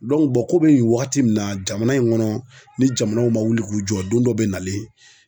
komi nin wagati in na jamana in kɔnɔ ni jamanaw ma wuli k'u jɔ don dɔ bɛ nalen